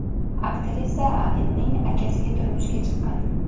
Aktrisa Anilning akasiga turmushga chiqqan.